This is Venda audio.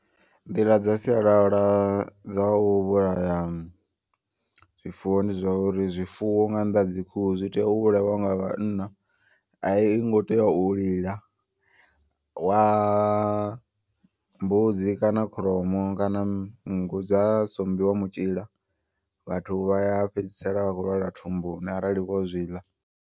Nḓila dza sialala dza u vhulaya zwifuwo ndi zwauri zwifuwo nga nnḓa ha dzi khuhu zwi tea u vhulaiwa nga vhanna. A i ngo tea u lila wa mbudzi kana kholomo kana nngu dza sombiwa mutshila vhathu vha fhedzisela vha khou lwala thumbuni arali vho zwiḽa.